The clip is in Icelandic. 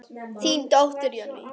Þín dóttir, Jenný.